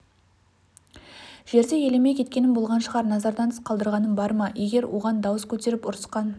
жерде елемей кеткенім болған шығар назардан тыс қалдырғаным бар ма егер оған дауыс көтеріп ұрысқан